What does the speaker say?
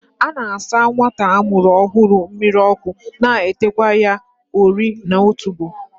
A na-asa nwata a mụrụ ọhụrụ mmiri ọkụ na teekwa ya ori n'otubo